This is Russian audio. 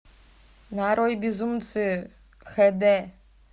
нарой безумцы хд